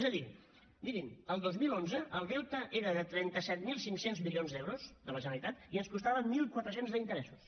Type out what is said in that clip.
és a dir mirin el dos mil onze el deute era de trenta set mil cinc cents milions d’euros de la generalitat i ens costava mil quatre cents d’interessos